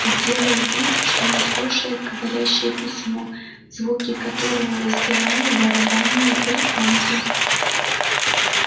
и делал вид что не слушает говорящее письмо звуки которого раздирали барабанные перепонки